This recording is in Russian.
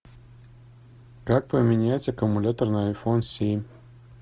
как поменять аккумулятор на айфон семь